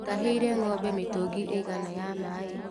Mũtahĩire ngombe mĩtũngi ĩigana ya maĩ.